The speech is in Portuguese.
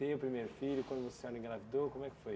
Ter o primeiro filho, quando a senhora engravidou, como é que foi?